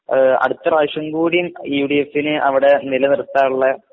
ആഹ് അടുത്ത പ്രാവിശംകൂടിം യുഡിഎഫിനേ അവിടെ നിലനിർത്താനുള്ള